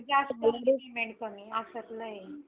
कमी अशातलं आहे.